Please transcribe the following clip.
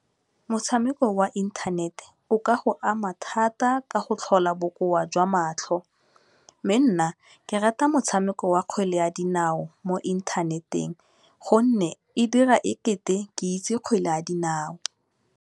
Motshameko wa inthanete o ka go ama thata ka go tlhola bokoa jwa matlho, mme nna ke rata motshameko wa kgwele ya dinao mo inthaneteng gonne e dira ekete ke itse kgwele ya dinao.